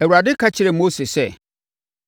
Awurade ka kyerɛɛ Mose sɛ,